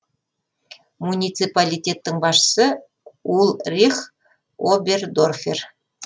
муниципалитеттің басшысы ульрих обердорфер